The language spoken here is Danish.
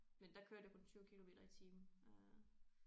Men der kørte jeg kun 20 kilometer i timen øh